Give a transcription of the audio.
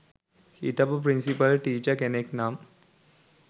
හිටපු principal teacher කෙනෙක් නම්